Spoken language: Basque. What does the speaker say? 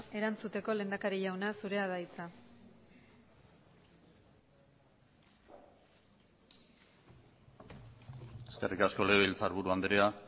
erantzuteko lehendakari jauna zurea da hitza eskerrik asko legebiltzarburu andrea